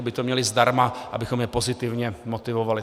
Aby to měli zdarma, abychom je pozitivně motivovali.